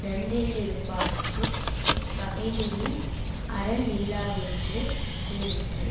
நன்றென்றிருப்பார்க்குப் பகைமிகின் அரண் நில்லாதென்று கூறிற்று